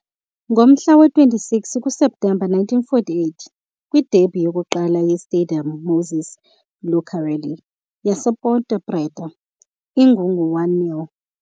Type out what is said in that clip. Ngomhla wama-26 kuSeptemba 1948, kwi-derby yokuqala ye-Stadium Moisés Lucarelli yasePonte Preta, uGugu u-1-0.